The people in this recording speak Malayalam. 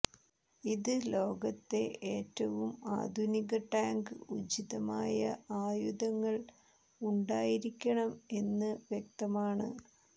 ഇത് ലോകത്തെ ഏറ്റവും ആധുനിക ടാങ്ക് ഉചിതമായ ആയുധങ്ങൾ ഉണ്ടായിരിക്കണം എന്ന് വ്യക്തമാണ്